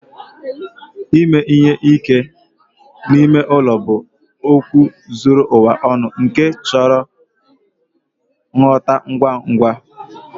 Ime ihe ike n'ime ụlọ bụ okwu zuru ụwa ọnụ nke chọrọ ngwọta ngwa ngwa.